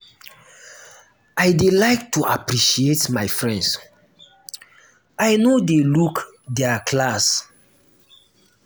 i dey like to appreciate my friends i no dey look their class.